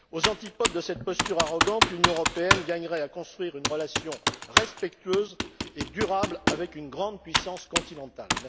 Aux antipodes de cette posture arrogante, l'Union européenne gagnerait à construire une relation respectueuse et durable avec une grande puissance continentale.